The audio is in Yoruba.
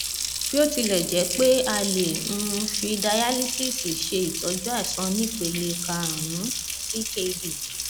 bí ó tilẹ jẹ pé a lè um fi dayalísíìsì ṣe ìtọjú àìsàn onípele karùnún ckd